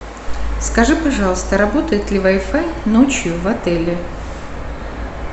скажи пожалуйста работает ли вай фай ночью в отеле